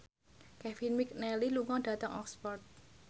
Kevin McNally lunga dhateng Oxford